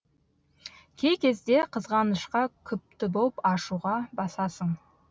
кей кезде қызғанышқа күпті боп ашуға басасың